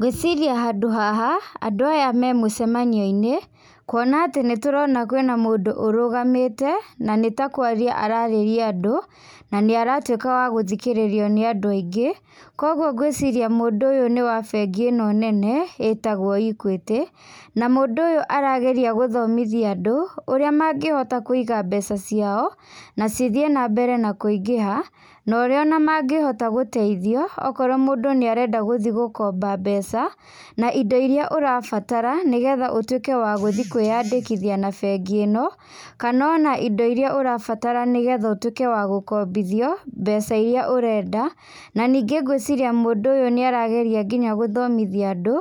Ngwĩciria handũ haha, andũ aya me mũcemanioinĩ, kuona atĩ nĩtũrona kwĩna mũndũ ũrũgamĩte, na nĩtakwaria ararĩria andũ, na nĩaratuĩka wa gũthikĩrĩrio nĩ andũ aingĩ, koguo ngwĩciria mũndũ ũyũ nĩ wa bengi ĩno nene, ĩtagwo Equity, na mũndũ ũyũ arageria gũthomithia andũ, ũrĩa mangĩhota kũiga mbeca ciao, nacithiĩ nambere kũingĩha, na ũrĩa onamangĩhota gũteithio, okorwo mũndũ nĩarenda gũthiĩ gũkomba mbeca, na indo iria ũrabatara, nĩgetha ũtuĩke wa gũthiĩ kwĩyandĩkithia na bengi ino, kana ona indo iria ũrabatara nĩgetha ũtuĩke wa gũkombithio, mbeca iria ũrenda, na ningĩ ngwĩciria mũndũ ũyũ nĩarageria nginya gũthomithia andũ,